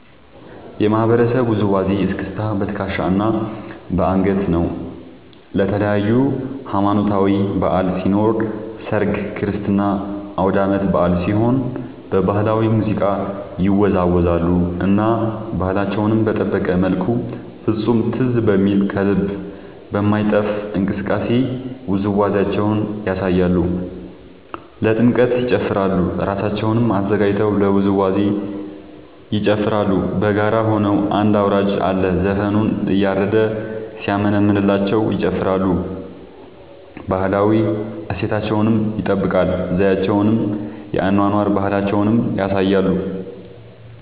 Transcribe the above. የማህበረሰቡ ውዝዋዜ እስክስታ በትከሻ እና በአንገት ነው። ለተለያዪ ሀማኖታዊ በዐል ሲኖር ሰርግ ክርስትና አውዳመት በአል ሲሆን በባህላዊ ሙዚቃ ይወዛወዛሉ እና ባህላቸውን በጠበቀ መልኩ ፍፁም ትዝ በሚል ከልብ በማይጠፍ እንቅስቃሴ ውዝዋዜያቸውን ያሳያሉ። ለጥምቀት ይጨፉራሉ እራሳቸውን አዘጋጅተው ለውዝዋዜ ይጨፋራሉ በጋራ ሆነው አንድ አውራጅ አለ ዘፈኑን እያረደ ሲያሞነምንላቸው ይጨፍራሉ። ባህላዊ እሴታቸውን ይጠብቃል ዘዪቸውን የአኗኗር ባህላቸውን ያሳያሉ።